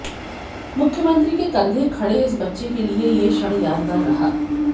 मुख्यमंत्री के कंधे खड़े इस बच्चे के लिए यह क्षण यादगार रहा